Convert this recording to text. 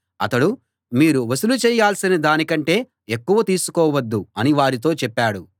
అతడు మీరు వసూలు చేయాల్సిన దాని కంటే ఎక్కువ తీసుకోవద్దు అని వారితో చెప్పాడు